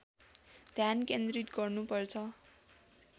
ध्यान केन्द्रित गर्नुपर्छ